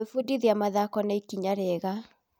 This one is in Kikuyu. Gwĩbundithia wĩgiĩ mathoko nĩ ikinya rĩega.